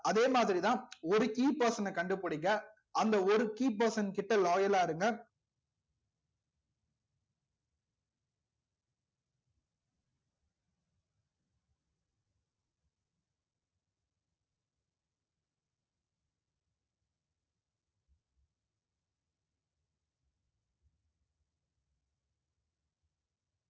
அதே மாதிரிதான் ஒரு key person அ கண்டுபிடிங்க அந்த ஒரு key person கிட்ட loyal ஆ இருங்க